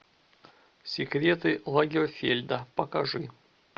секреты лагерфельда покажи